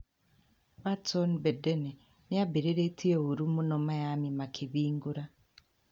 Watson, Bedene nĩmabĩrĩrĩtie ũũru mũno Miami makĩbingũra